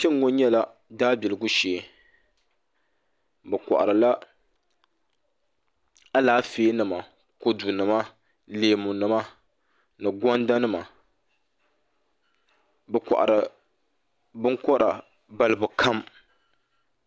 Kpɛŋŋo nyɛla daabiligu shee bi koharila Alaafee nima kodu nima leemu nima ni gonda nima bi kohari binwola balibu kam